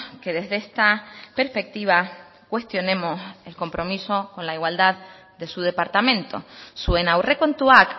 que desde esta perspectiva cuestionemos el compromiso con la igualdad de su departamento zuen aurrekontuak